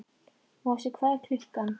Mosi, hvað er klukkan?